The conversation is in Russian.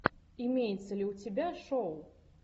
имеется ли у тебя шоу